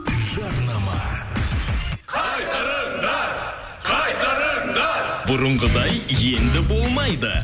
жарнама қайтарыңдар қайтарыңдар бұрынғыдай енді болмайды